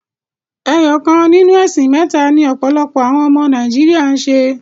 Ẹyọ kan ninu ẹ̀sìn mẹ́ta ni ọ̀pọ̀lọpọ̀ àwọn ọmọ Nàíjíríà ń ṣe.